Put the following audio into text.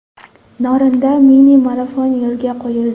Norinda mini-marafon yo‘lga qo‘yildi.